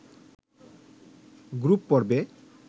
group পর্বে